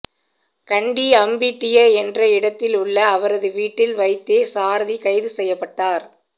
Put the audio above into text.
கண்டி அம்பிட்டிய என்ற இடத்தில் உள்ள அவரது வீட்டில் வைத்தே சாரதி கைதுசெய்யப்பட்டார்